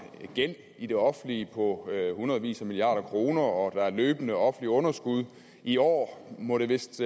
gæld i det offentlige på hundredvis af milliarder kroner og der er løbende offentlige underskud i år må det vist